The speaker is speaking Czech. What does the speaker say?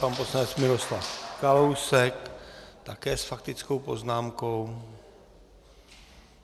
Pan poslanec Miroslav Kalousek také s faktickou poznámkou.